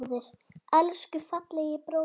Elsku fallegi bróðir.